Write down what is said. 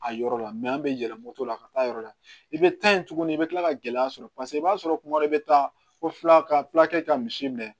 A yɔrɔ la an bɛ yɛlɛ moto la ka taa yɔrɔ la i bɛ taa yen tuguni i bɛ kila ka gɛlɛya sɔrɔ paseke i b'a sɔrɔ kuma dɔ i bɛ taa o fila ka fila kɛ ka misi minɛ